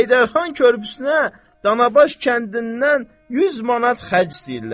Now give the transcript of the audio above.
Heydərxan körpüsünə Danabaş kəndindən 100 manat xərc istəyirlər.